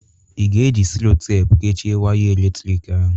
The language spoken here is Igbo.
Ị ga-eji Sellotepụ kechịe waya eletrik ahụ?